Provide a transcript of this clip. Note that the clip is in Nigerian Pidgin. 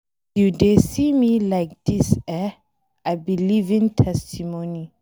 As you dey see me like dis eh, I be living testimony.